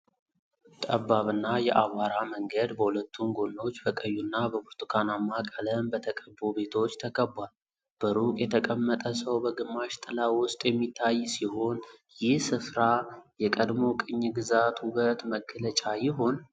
ጠባብና የአቧራ መንገድ በሁለቱም ጎኖች በቆዩና በብርቱካናማ ቀለም በተቀቡ ቤቶች ተከቧል። በሩቅ የተቀመጠ ሰው በግማሽ ጥላ ውስጥ የሚታይ ሲሆን፣ ይህ ስፍራ የቀድሞ ቅኝ ግዛት ውበት መገለጫ ይሆን?